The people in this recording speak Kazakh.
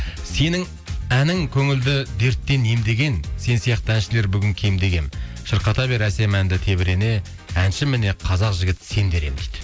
сенің әнің көңілді дерттен емдеген сен сияқты әншілер бүгін кемде кем шырқата бер әсем әнді тебірене әнші міне қазақ жігіт сен дер едім дейді